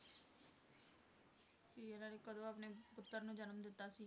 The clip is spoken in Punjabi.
ਵੀ ਇਹਨਾਂ ਨੇ ਕਦੋਂ ਆਪਣੇ ਪੁੱਤਰ ਨੂੰ ਜਨਮ ਦਿੱਤਾ ਸੀ।